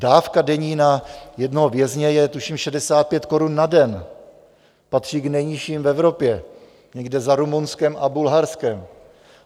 Dávka denní na jednoho vězně je tuším 65 korun na den, patří k nejnižším v Evropě, někde za Rumunskem a Bulharskem.